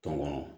Tɔ ma